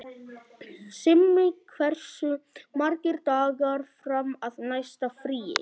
Simmi, hversu margir dagar fram að næsta fríi?